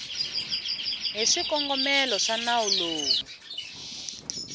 hi swikongomelo swa nawu lowu